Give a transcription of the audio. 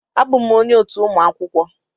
Abụm onye otu ụmụ akwụkwọ